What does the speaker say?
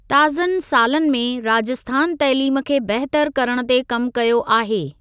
ताज़नि सालनि में, राजस्थान तइलीम खे बहितर करणु ते कमु कयो आहे।